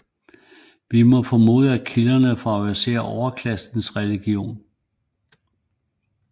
Vi må formode at kilderne favoriserer overklassens religion